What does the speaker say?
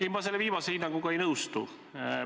Ei, ma selle viimase hinnanguga ei nõustu.